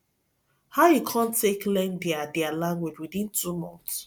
how you come take learn their their language within two months